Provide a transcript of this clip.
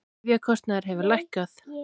Lyfjakostnaður hefur lækkað